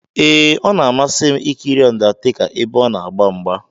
Ee, ọ na-amasị m ikiri undertaker ebe ona agba mgba.